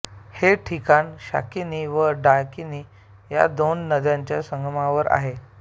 हे ठिकाण शाकिनी व डाकिनी या दोन नद्यांच्या संगमावर आहे